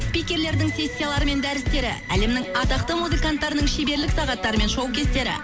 спикерлердің сессиялары мен дәрістері әлемнің атақты музыканттарының шеберлік сағаттары мен шоу кестері